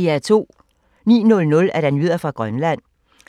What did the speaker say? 09:00: Nyheder fra Grønland